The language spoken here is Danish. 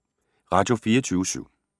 Radio24syv